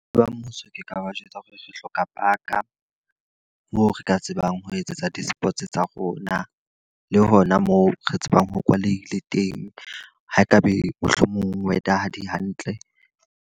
Le ba mmuso ke ka ba jwetsa hore re hloka park-a. Moo re ka tsebang ho etsetsa di-sports tsa rona, le hona moo re tsebang ho kwaleile teng. Ha e ka be mohlomong weather-a ha di hantle.